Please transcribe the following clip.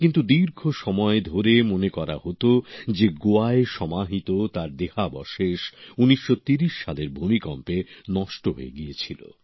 কিন্তু দীর্ঘ সময় ধরে মনে করা হতো যে গোয়ায় সমাহিত তার দেহাবশেষ ১৯৩০ সালের ভূমিকম্পে নষ্ট হয়ে গিয়েছিল